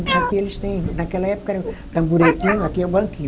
Aqui eles têm, naquela época era o tamburetinho, aqui é o banquinho.